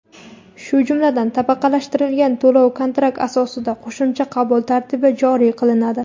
shu jumladan tabaqalashtirilgan to‘lov kontrakt asosida qo‘shimcha qabul tartibi joriy qilinadi.